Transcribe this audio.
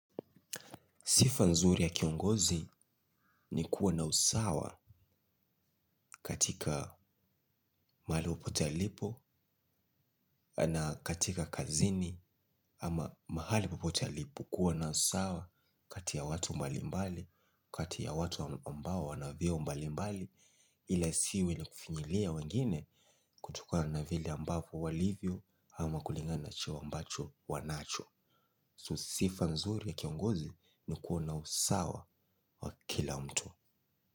Sifa nzuri ya kiongozi ni kuwa na usawa katika mahali popote alipo na katika kazini ama mahali popote alipo kuwa na usawa kati ya watu mbali mbali, kati ya watu ambao wana vyeo mbali mbali ila isiwe ni kufinyilia wengine kutokana na vile ambavyo walivyo ama kulingana cheo ambacho wanacho. Sifa nzuri ya kiongozi ni kuwa na usawa wa kila mtu.